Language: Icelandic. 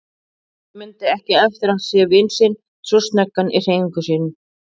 Örn mundi ekki eftir að hafa séð vin sinn svo snöggan í hreyfingum fyrr.